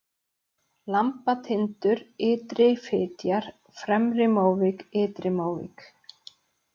Lambatindur, Ytri-Fitjar, Fremri-Móvík, Ytri-Móvík